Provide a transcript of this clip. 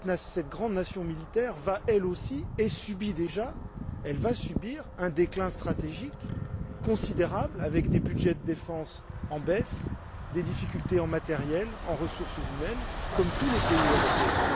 Cette grande nation militaire va elle aussi subir, et subit déjà, un déclin stratégique considérable, avec des budgets de défense en baisse, des difficultés en termes de matériel et de ressources humaines, comme tous les pays européens.